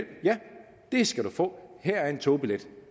det skal du få her er en togbillet